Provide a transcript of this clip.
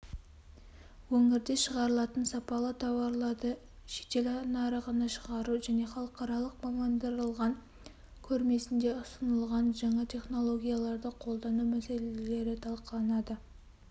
өңірде шығарылатын сапалы тауарларды шетелнарығына шығару және халықаралық мамандырылған көрмесінде ұсынылғанжаңа технологияларды қолдану мәселелері талқыланады